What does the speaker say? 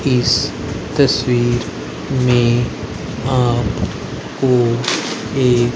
इस तस्वीर में आप को एक--